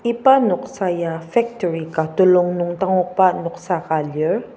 iba noksa ya factory ka telung nung dangokba noksa ka lir.